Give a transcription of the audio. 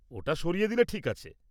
-ওটা সরিয়ে দিলে ঠিক আছে।